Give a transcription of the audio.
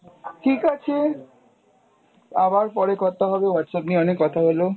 ঠিক আছে আবার পরে কথা হবে, Whatsapp নিয়া অনেক কথা হলো।